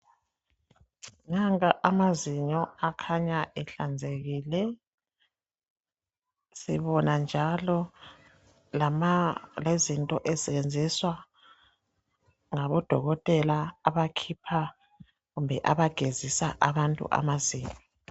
Nanka amazinyo akhanya ehlanzekile. Sibona njalo lama lenzinto ezisetshenziswa ngabodokotela abakhipha kumbe abagezisa abantu amazinyo.